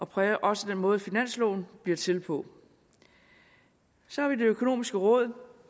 præger også den måde finansloven bliver til på så har vi det økonomiske råd